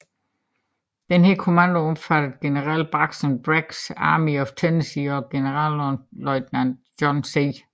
Denne kommando omfattede general Braxton Braggs Army of Tennessee og generalløjtnant John C